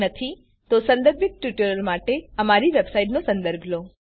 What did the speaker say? જો નથી તો સંદર્ભિત ટ્યુટોરીયલ માટે બતાવ્યા પ્રમાણે અમારી વેબસાઈટનો સંદર્ભ લો